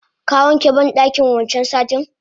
Ka wanke bandakin wancan satin?